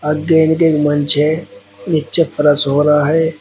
मंच है। नीचे फरस हो रहा है।